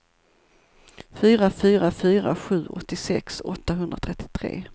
fyra fyra fyra sju åttiosex åttahundratrettiotre